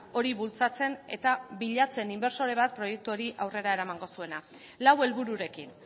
hori bultzatzen eta bilatzen inbertsore bat proiektu hori aurrera eramango zuena lau helbururekin